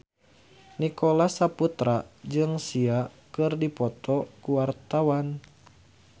Nicholas Saputra jeung Sia keur dipoto ku wartawan